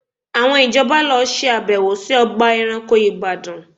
Àwọn ìjọba lọ ṣe àbẹ̀wò sí ọgbà ẹranko Ìbàdàn